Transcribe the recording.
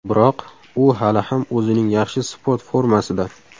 Biroq, u hali ham o‘zining yaxshi sport formasida.